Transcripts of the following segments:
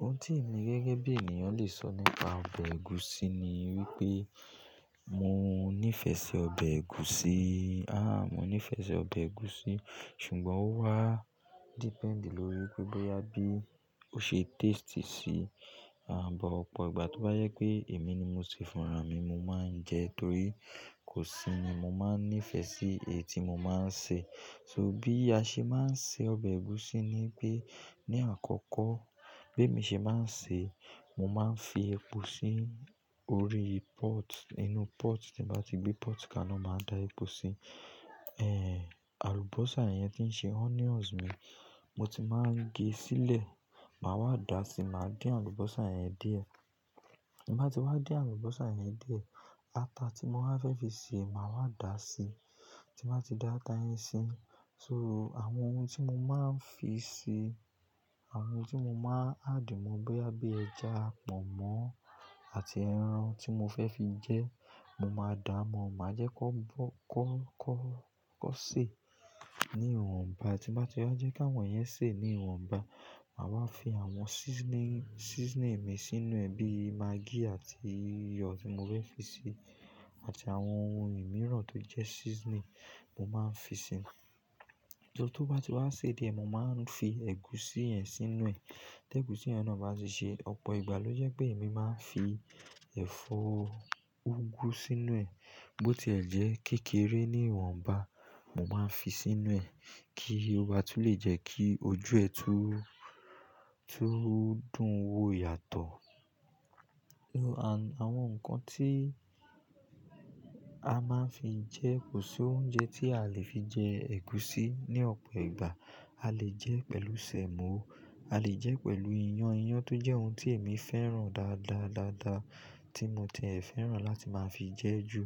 Ohun tí èmi gẹ́gẹ́ bí ènìyàn le sọ nípa ọbẹ̀ ẹ̀gúsí ni wípé mo nífẹ̀ẹ́ sí ọbẹ̀ ẹ̀gúsí. Aah, mo nífẹ̀ẹ́ sí ọbẹ̀ ẹ̀gúsí ṣùgbọ́n ó wá depend lórí wipé bóyá bí ó ṣe taste sí, à, bọ̀ ọ̀pọ̀ ìgbà tó bá jẹ ípé èmi ni mo ṣe fúnra mi ni mo máa ń jẹ torí kò sí ni mo máa nífẹ̀ẹ́ sí èyí tí mo máa ń ṣe. So bí a ṣe máa ń se ọbẹ̀ ẹ̀gúsí ni ípé ní àkọ́kọ́ bí èmi ṣe máa ń ṣe, mo máa ń fi epo sí orí pot, inú pot tí mbá ti gbé pot kaná, màá da epo sí. Ehn, àlùbọ́sà yẹn tí ń ṣe onions mi, mo ti máa ń gé sílẹ̀, màá wá dà á sí, màá fín àlùbọ́sà yẹn diẹ. Tí n bá ti wá din àlùbọ́sà yẹn diẹ, ata tí mo bá fẹ́ fi ṣe, màá wá dà á sí. Tí n ba ti dá ata yẹn sí, so, àwọn ohun tí mo máa ń fi si, àwọn ohun tí mo máa ń add mo bóyá bí ẹ̀ja, pọ̀nmọ́ àti ẹran tí mo fẹ́ fi jẹ ẹ, mo máa dà á mọ́, màá jẹ́ kón bọ́-- kón, kón, kón sè ní ìwọ̀nba. Tí n bá ti wá jẹ́ kí àwọn yẹn se ní ìwọ̀nba, màá wá fi àwọn seasoning, seasoning mi sínú ẹ̀ bí maggi àti iyọ̀ tí mo fẹ́ fi ṣe àti àwọn ohun ìmiràn tó jẹ́ seasoning mo máa ń fi síi. So, tó bá ti wá sè diẹ, mo máa ń fi ẹ̀gúsí yẹn sínú ẹ̀. Tí ẹ̀gúsí yẹn náà bá ti ṣe, ọ̀pọ̀ ìgbà ló jẹ́ pé èmi máa ń fi ẹ̀fọ́ úgú sínú ẹ̀ bó ti ẹ̀ jẹ́ kékeré ní ìwọ̀nba, mo máa ń fi sínú ẹ̀ kí ó ba tu le jẹ́ kí ojú ẹ̀ tu, tu dùn wò yàtọ̀. So àwọn nǹkan tí a máa ń fi jẹ, ko sí oúnjẹ tí a lè fi jẹ ègúsí ní ọ̀pọ̀ ìgbà. A lè jẹ ẹ pẹ̀lú sẹ̀mọ́, a lè jẹ ẹ pẹ̀lù ìyàn, ìyàn tó jẹ́ ohun tí èmi fẹ́ràn dáadáa, dáadáa tí mo ti ẹ fẹ́ràn láti máa fi jẹ ju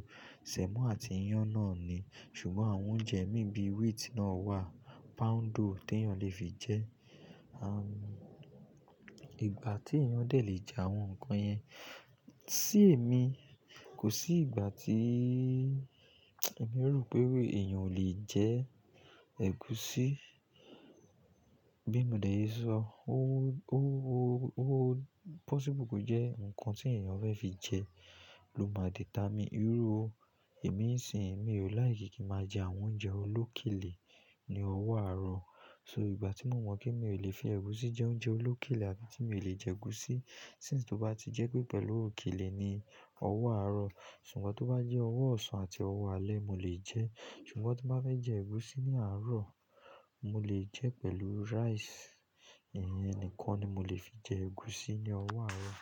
sẹ̀mọ́ àti ìyàn náà ni. Ṣùgbọ́n àwọn oúnjẹ mí bí wheat náà wà, poundo tí èèyàn lè fi jẹ. Aah, ìgbà tí èèyàn dẹ lè jẹ àwọn nǹkan yẹn, sí èmi kò sí ìgbà tí èmi ro pé èèyàn ò le jẹ ẹ ègúsí. Bi mo de se so, o, o, o possible ko je nkan ti eeyan fe fi je lo maa determine. Iru èmi ń sìn, mi ò láìkí kí n máa jẹ àwọn oúnjẹ olókèlè ní ọwọ́ àárọ̀. So ìgbà tí mo mọ̀ pé mi ò lè fi ègúsí jẹ oúnjẹ olókèlè àbí tí mi ò lè jẹ ègúsí. Since tó bá ti jẹ́ pé pẹ̀lú òkèlè ni ọwọ́ àárọ̀, ṣùgbọ́n tó bá jẹ́ ọwọ́ ọ̀sán àti ọwọ́ alẹ́, mo le jẹ ẹ. Ṣùgbọ́n ti n bá fẹ́ jẹ ègúsí ní àárọ̀, mo lè jẹ pẹ̀lú rice, ìyẹn nìkan ni mo lè fi jẹ ègúsí ní ọwọ́ àárọ̀.